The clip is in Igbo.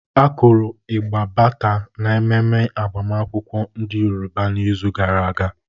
Akuru ịgbà Bata n'ememe agbamakwụkwọ ndị Yoroba n'izu gara aga.